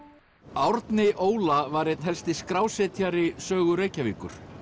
Árni Óla var einn helsti skrásetjari sögu Reykjavíkur